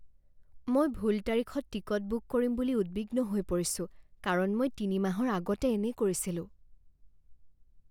মই ভুল তাৰিখত টিকট বুক কৰিম বুলি উদ্বিগ্ন হৈ পৰিছোঁ কাৰণ মই তিনি মাহৰ আগতে এনে কৰিছিলোঁ।